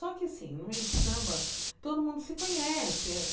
Só que, assim, no meio de samba, todo mundo se conhece.